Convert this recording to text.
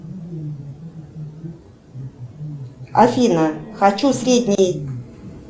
афина хочу средний